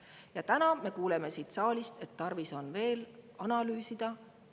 Ja täna me kuuleme siin saalis, et tarvis on veel analüüsida.